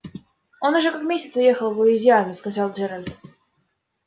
он уже как месяц уехал в луизиану сказал джералд